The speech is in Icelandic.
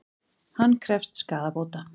Hann krefst skaðabóta